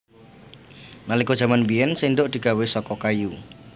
Nalika jaman biyèn séndhok digawé saka kayu